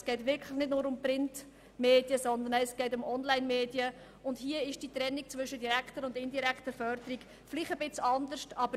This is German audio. Es geht wirklich nicht nur um Printmedien, sondern auch um Onlinemedien, und hier sieht die Trennung zwischen direkter und indirekter Förderung vielleicht ein wenig anders aus.